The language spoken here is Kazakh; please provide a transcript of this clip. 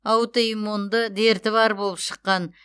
аутоиммунды дерті бар болып шыққан